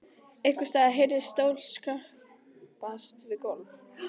Einhvers staðar heyrðist stóll skrapast við gólf.